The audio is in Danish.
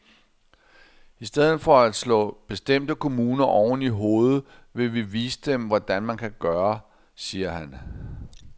I stedet for at slå bestemte kommuner oven i hovedet vil vi vise dem, hvordan man kan gøre, siger han.